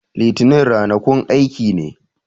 Litanin rana kun aiki ne